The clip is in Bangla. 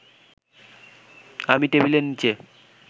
আমি টেবিলের নিচে